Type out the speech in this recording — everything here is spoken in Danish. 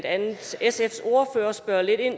andet sfs ordfører spørge lidt ind